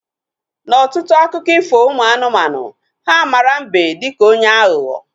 Na ọtụtụ akụkọ ifo ụmụ anụmanụ, ha mara mbe dịka onye aghụghọ